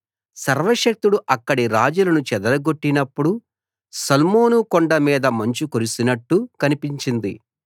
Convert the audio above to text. సర్వశక్తుడు అక్కడి రాజులను చెదరగొట్టినప్పుడు సల్మోను కొండ మీద మంచు కురిసినట్టు కనిపించింది